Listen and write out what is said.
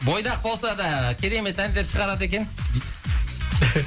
бойдақ болса да керемет әндер шығарады екен дейді